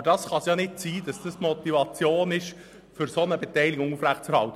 Aber es kann nicht sein, dass dies die Motivation ist, eine solche Beteiligung aufrechtzuerhalten.